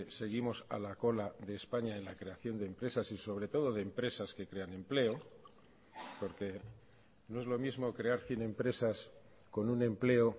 seguimos a la cola de españa en la creación de empresas y sobre todo de empresas que crean empleo porque no es lo mismo crear cien empresas con un empleo